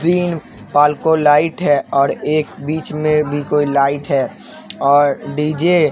तीन पालकों लाइट है और एक बीच में भी कोई लाइट है और डी_जे --